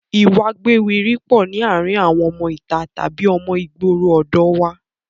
Ìwà a gbéwiri pọ̀ ní àárín àwọn ọmọ ìta tàbí ọmọ ìgboro ọ̀dọ̀ ọ wa